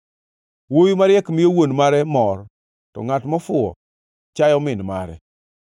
Wuowi mariek miyo wuon mare mor, to ngʼat mofuwo chayo min mare.